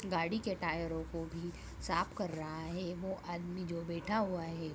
गाड़ी के टायरों को भी साफ कर रहा हैं वो आदमी जो बैठा हुआ है।